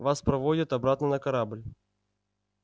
вас проводят обратно на корабль